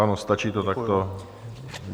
Ano, stačí to takto.